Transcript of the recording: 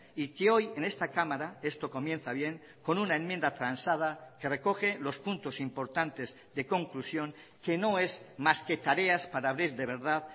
y que hoy en esta cámara esto comienza bien con una enmienda transada que recoge los puntos importantes de conclusión que no es más que tareas para abrir de verdad